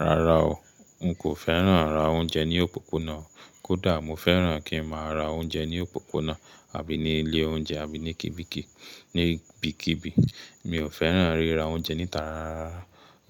Rárá o, n kò fẹ́ràn rà oúnjẹ ní òpópónà, kódà mo fẹ́ràn kí ń má a ra oúnjẹ ní òpópónà àbí ní ilé oúnjẹ àbí ní kìbíkìbí. Ní kì Mi ò fẹ́ràn ríra oúnjẹ níta rárá.